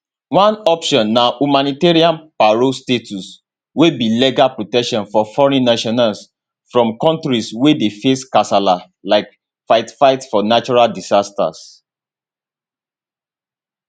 one option na humanitarian parole status wey be legal protection for foreign nationals from kontris wey dey face kasala like fightfight for natural disasters